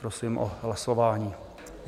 Prosím o hlasování.